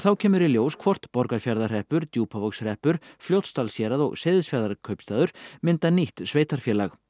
kemur í ljós hvort Borgarfjarðarhreppur Djúpavogshreppur Fljótsdalshérað og Seyðisfjarðarkaupstaður mynda nýtt sveitarfélag